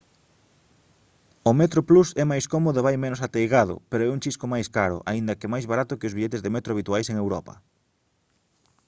o metroplus é máis cómodo e vai menos ateigado pero é un chisco máis caro aínda que máis barato que os billetes de metro habituais en europa